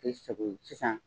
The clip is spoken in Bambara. Kɛ i sago ye sisan